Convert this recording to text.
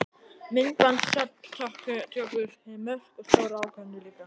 Myndbandsupptökur fyrir mörk og stórar ákvarðanir líka?